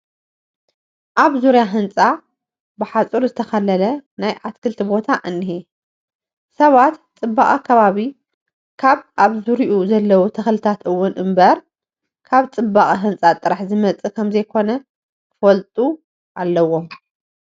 ኣብ ዙርያ ህንፃ ብሓፁር ዝተኸለለ ናይ ኣትክልቲ ቦታ እኒሀ፡፡ ሰባት ፅባቐ ከባቢ ካብ ኣብ ዙርይኡ ዘለዎ ተኽልታት እውን እምበር ካብ ፅባቐ ህንፃ ጥራሕ ዝመፅእ ከምዘይኮነ ክፈልጡ ኣለዎም፡፡